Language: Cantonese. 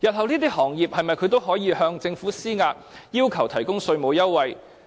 這些行業日後是否都可以向政府施壓，要求提供稅務優惠？